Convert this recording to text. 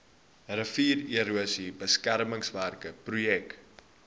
riviererosie beskermingswerke projek